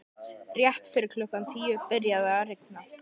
Rétt fyrir klukkan tíu byrjaði að rigna.